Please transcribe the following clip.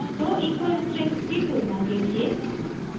दो equal strings की तुलना के लिए